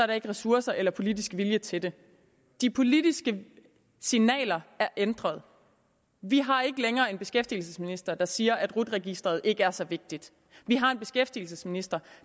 der ikke ressourcer eller politisk vilje til det de politiske signaler er ændret vi har ikke længere en beskæftigelsesminister der siger at rut registeret ikke er så vigtigt vi har en beskæftigelsesminister